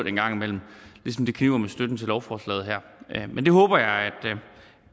engang imellem ligesom det kniber med støtten til lovforslaget her men det håber jeg